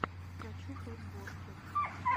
хочу подборки